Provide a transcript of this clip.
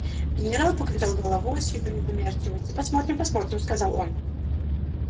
генерал покачал головою с видом недоверчивости посмотрим посмотрим сказал он